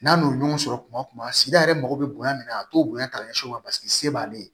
N'a n'o ɲɔgɔn sɔrɔ kuma tuma sida yɛrɛ mago bɛ bonya min na a t'o bonya ka ɲɛsin u ma paseke se b'ale ye